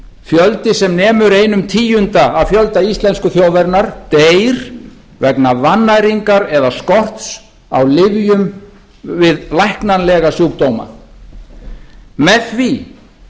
fjöldi sem nemur einum tíunda af fjölda íslensku þjóðarinnar deyr vegna vannæringar eða skorts á lyfjum við læknanlegum sjúkdóma með því